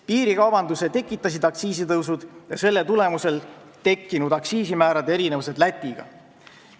Piirikaubanduse tekitasid aktsiisitõusud ja selle tulemusel tekkinud aktsiisimäärade erinevused Läti aktsiisimääradest.